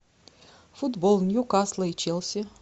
футбол ньюкасла и челси